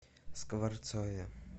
скворцове